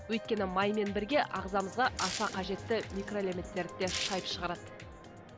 өйткені маймен бірге ағзамызға аса қажетті микроэлементтерді де шайып шығарады